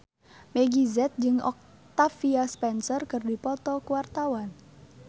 Meggie Z jeung Octavia Spencer keur dipoto ku wartawan